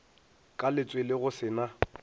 ka letswele go se na